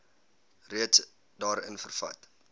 reeds daarin vervat